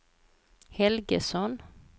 Helgesson